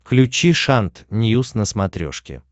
включи шант ньюс на смотрешке